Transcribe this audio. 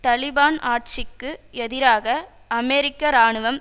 தலிபான் ஆட்சிக்கு எதிராக அமெரிக்க இராணுவம்